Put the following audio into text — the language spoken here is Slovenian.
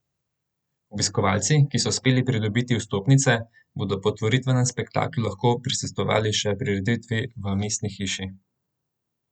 Obiskovalci, ki so uspeli pridobiti vstopnice, bodo po otvoritvenem spektaklu lahko prisostvovali še prireditvi še v Mestni hiši.